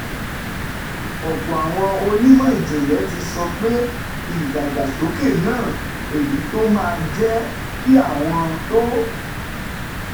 Ọ̀pọ̀ àwọn onímọ̀ ìjìnlẹ̀ ti sọ pé ìdàgbàsókè náà, èyí tó máa jẹ́ kí àwọn tó